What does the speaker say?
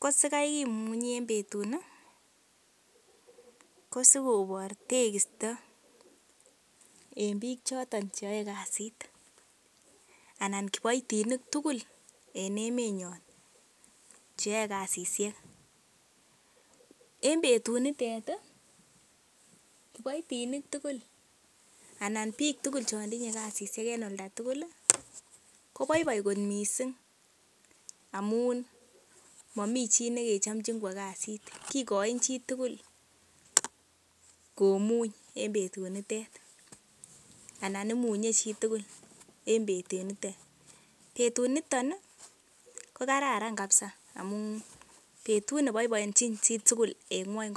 Ko sikai kimunye en betuni kosigobor tekisto en biik choto che yoe kasit anan kiboitinik tugl en emenyon che yoe kasishek. En betunitet, kiboitin tugul anan biik tugul chon tinye kasishek en olda tugul koboiboi mising amun momi chi nekechomchin kwo kasit kigochin chitugul komuny en betunitet anan imunye chitugul en betunitet. Betunito ko kararan kabisa amun betut ne boiboiechin chi tugul en ng'wony komugul.